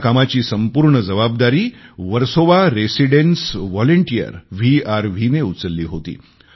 या कामाची संपूर्ण जबाबदारी व्हर्सोवा रेसिडेन्स व्हॉलंटियर वीआरव्ही ने उचलली होती